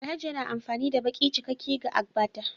Alhaji yana amfani da baki cikakke ga agbada